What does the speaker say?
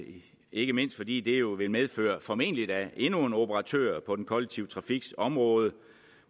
ikke mindst fordi det jo vil medføre formentlig da endnu en operatør på den kollektive trafiks område